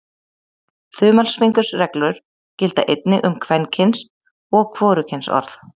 Þumalfingursreglur gilda einnig um kvenkyns- og hvorugkynsorð.